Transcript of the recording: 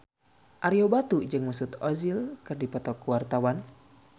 Ario Batu jeung Mesut Ozil keur dipoto ku wartawan